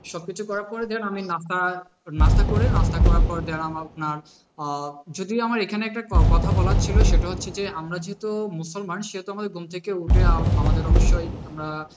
সব কিছু করার পর নাস্তা নাস্তা করে নাস্তা করার পর যারা আপনার আহ যদিও আমার এখানে একটা কথা বলার ছিল সেটা হচ্ছে যে আমরা যেহেতু মুসলমান সেহেতু ঘুম থেকে উঠে আমাদের অবশ্যই আমরা